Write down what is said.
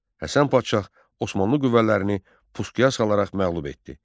Həsən Padşah Osmanlı qüvvələrini pusuya salaraq məğlub etdi.